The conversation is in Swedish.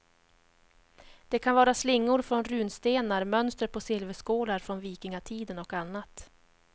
Det kan vara slingor från runstenar, mönster på silverskålar från vikingatiden och annat.